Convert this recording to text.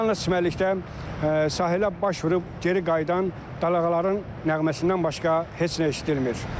Yalnız çimərlikdə sahilə baş vurub geri qayıdan balaqaların nəğməsindən başqa heç nə eşidilmir.